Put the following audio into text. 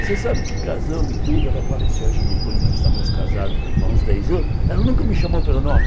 Você sabe que casamos e tudo, ela faleceu, acho que depois nós estávamos casados há uns dez anos, ela nunca me chamou pelo nome.